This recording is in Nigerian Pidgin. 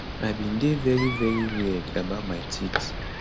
i bin dey very very weird about my teeth